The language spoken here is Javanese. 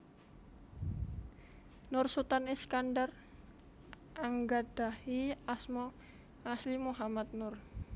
Nur Sutan Iskandar anggadhahi asma asli Muhammad Nur